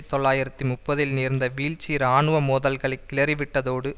தொள்ளாயிரத்து முப்பதில் நேர்ந்த வீழ்ச்சி இராணுவ மோதல்களை கிளறிவிட்டதோடு